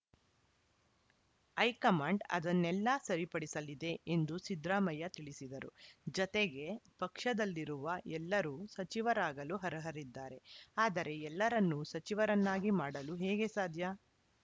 high command ಅದನ್ನೆಲ್ಲ ಸರಿಪಡಿಸಲಿದೆ ಎಂದು ಸಿದ್ದರಾಮಯ್ಯ ತಿಳಿಸಿದರು ಜತೆಗೆ ಪಕ್ಷದಲ್ಲಿರುವ ಎಲ್ಲರೂ ಸಚಿವರಾಗಲು ಅರ್ಹರಿದ್ದಾರೆ ಆದರೆ ಎಲ್ಲರನ್ನು ಸಚಿವರನ್ನಾಗಿ ಮಾಡಲು ಹೇಗೆ ಸಾಧ್ಯ